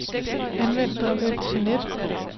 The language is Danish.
Anvend drev F til net.